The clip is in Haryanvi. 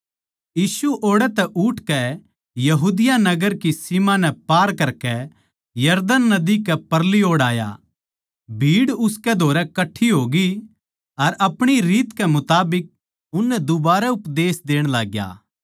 यीशु ओड़ै तै उठकै यहूदिया नगर की सीम नै पार करकै यरदन नदी कै परली ओड़ आया भीड़ उसकै धोरै कट्ठी होग्यी अर आपणी रीत कै मुताबिक उननै दुबारै उपदेश देण लाग्या